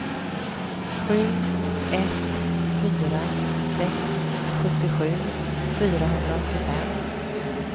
sju ett fyra sex sjuttiosju fyrahundraåttiofem